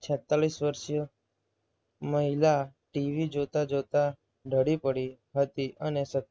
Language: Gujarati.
છેતતાલીસ વર્ષીય મહિલા TV જોતાં જોતાં ઢળી પડી હતી અને સ